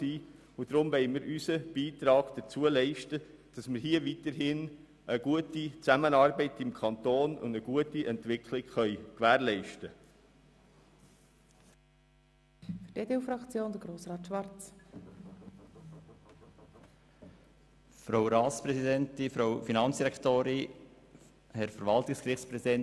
Mit diesen wollen wir unseren Beitrag leisten, um weiterhin eine gute Zusammenarbeit und eine gute Entwicklung im Kanton zu gewährleisten.